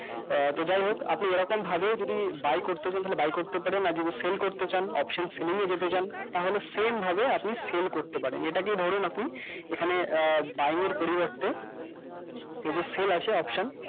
তো যাইহোক আপনি এরকম ভাবে যদি buy করতে চান তাহলে buy করতে পারেন আর যদি sale করতে চান option এ যেতে চান তাহলে same ভাবে আপনি sale করতে পারেন এটাকে ধরুন আপনি এখানে আহ buying এর পরিবর্তে যদি sale আসে option